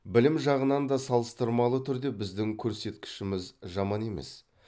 білім жағынан да салыстырмалы түрде біздің көрсеткішіміз жаман емес